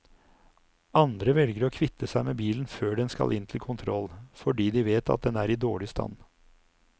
Andre velger å kvitte seg med bilen før den skal inn til kontroll, fordi de vet at den er i dårlig stand.